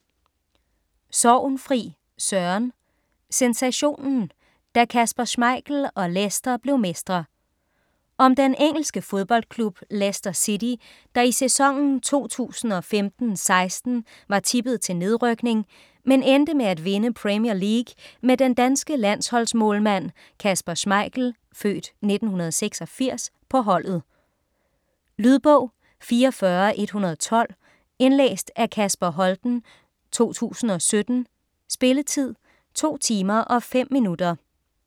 Sorgenfri, Søren: Sensationen: da Kasper Schmeichel og Leicester blev mestre Om den engelske fodboldklub Leicester City, der i sæsonen 2015/16 var tippet til nedrykning, men endte med at vinde Premier League med den danske landsholdsmålmand Kasper Schmeichel (f. 1986) på holdet. Lydbog 44112 Indlæst af Kasper Holten, 2017. Spilletid: 2 timer, 5 minutter.